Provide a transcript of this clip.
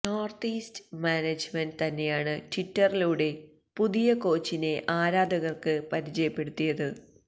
north east management തന്നെയാണ് ട്വിറ്ററിലൂടെ പുതിയ കോച്ചിനെ ആരാധകർക്ക് പരിചയപ്പെടുത്തിയത്